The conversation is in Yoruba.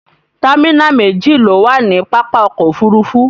támínà méjì ló wà nì pápá ọkọ̀ òfurufú